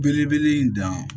Belebele in dan